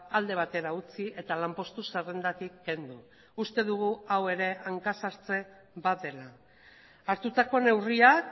alde batera utzi eta lanpostu zerrendatik kendu uste dugu hau ere hanka sartze bat dela hartutako neurriak